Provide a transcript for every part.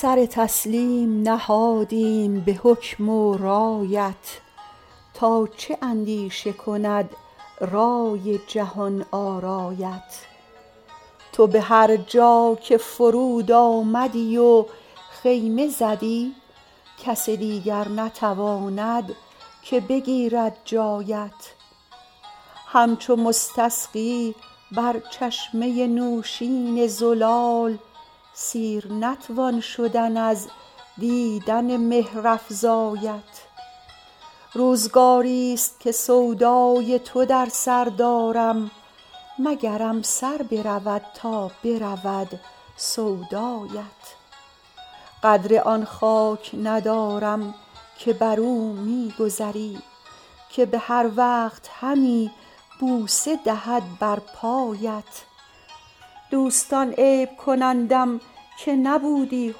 سر تسلیم نهادیم به حکم و رایت تا چه اندیشه کند رای جهان آرایت تو به هر جا که فرود آمدی و خیمه زدی کس دیگر نتواند که بگیرد جایت همچو مستسقی بر چشمه نوشین زلال سیر نتوان شدن از دیدن مهرافزایت روزگاریست که سودای تو در سر دارم مگرم سر برود تا برود سودایت قدر آن خاک ندارم که بر او می گذری که به هر وقت همی بوسه دهد بر پایت دوستان عیب کنندم که نبودی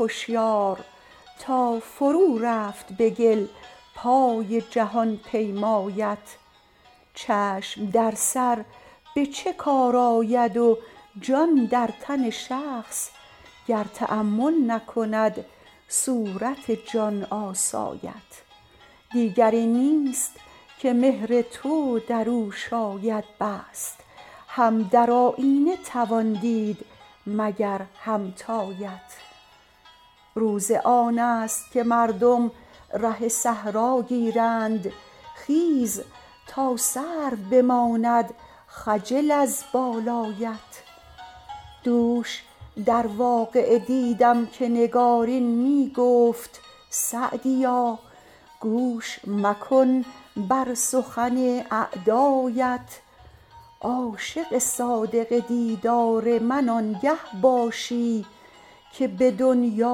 هشیار تا فرو رفت به گل پای جهان پیمایت چشم در سر به چه کار آید و جان در تن شخص گر تأمل نکند صورت جان آسایت دیگری نیست که مهر تو در او شاید بست هم در آیینه توان دید مگر همتایت روز آن است که مردم ره صحرا گیرند خیز تا سرو بماند خجل از بالایت دوش در واقعه دیدم که نگارین می گفت سعدیا گوش مکن بر سخن اعدایت عاشق صادق دیدار من آنگه باشی که به دنیا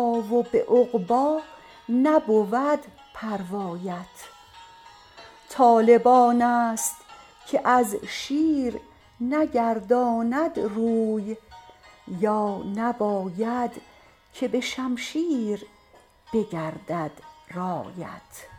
و به عقبی نبود پروایت طالب آن است که از شیر نگرداند روی یا نباید که به شمشیر بگردد رایت